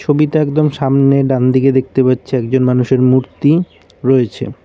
ছবিটা একদম সামনে ডান দিকে দেখতে পাচ্ছি একজন মানুষের মূর্তি রয়েছে।